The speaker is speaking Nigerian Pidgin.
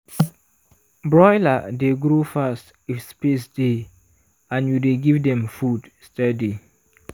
broiler dey grow fast if space dey and you dey give dem food steady.